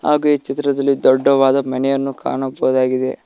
ಹಾಗೂ ಈ ಚಿತ್ರದಲ್ಲಿ ದೊಡ್ಡವಾದ ಮನೆಯನ್ನು ಕಾಣಬಹುದಾಗಿದೆ.